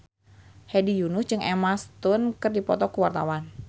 Hedi Yunus jeung Emma Stone keur dipoto ku wartawan